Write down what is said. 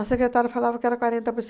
A secretária falava que era quarenta por